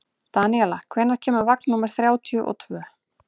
Daníela, hvenær kemur vagn númer þrjátíu og tvö?